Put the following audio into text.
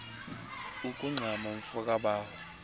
ukungxama mfo kabawo